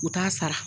U t'a sara